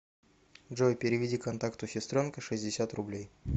джой переведи контакту сестренка шестьдесят рублей